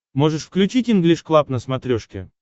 можешь включить инглиш клаб на смотрешке